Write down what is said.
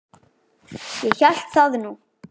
Ég hélt það nú.